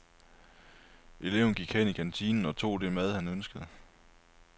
Eleven gik hen i kantinen og tog det mad, han ønskede.